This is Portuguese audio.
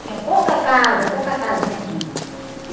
Tinha pouca casa, pouca casinha tinha.